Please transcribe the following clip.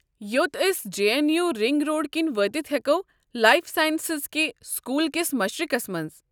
یوٚت أسۍ جے اٮ۪ن یوٗ رِنٛگ روڈٕ کِنۍ وٲتَتھ ہیكو، لایف ساینسز کہِ سکوٗل کس مشرقس منٛز ۔